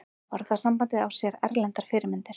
Orðasambandið á sér erlendar fyrirmyndir.